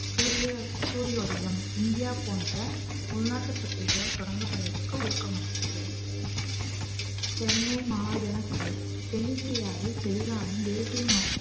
சூரிய சூரிய உதயம் இந்தியா போன்ற உள்நாட்டு பத்திரிகைகளால் தொடங்கப்படுவதற்கு ஊக்கமளித்தது சென்னை மகாஜன சபை தென்னிந்தியாவில் தெளிவான தேசிய